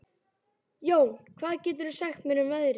Jón, hvað geturðu sagt mér um veðrið?